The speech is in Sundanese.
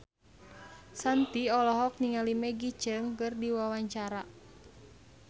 Shanti olohok ningali Maggie Cheung keur diwawancara